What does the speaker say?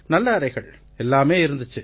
நல்ல அறைகள் எல்லாமே இருந்திச்சு